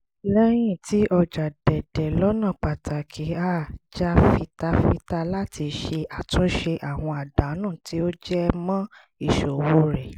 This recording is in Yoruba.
lẹ́yìn tí ọjà dẹ̀dẹ̀ lọ́nà pàtàkì her jà fitafita láti ṣe àtúnṣe àwọn àdánù tí ó jẹ mọ́ ìsòwò rẹ̀